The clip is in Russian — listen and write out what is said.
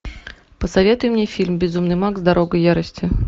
посоветуй мне фильм безумный макс дорога ярости